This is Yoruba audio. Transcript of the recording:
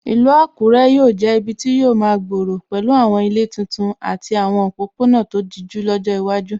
Ìlú Àkúrẹ́ yóò jẹ́ ibi tí yóò máa gbòòrò pẹ̀lú àwọn ilé titun àti àwọn òpópónà tó dijú lọ́jọ́ iwájú.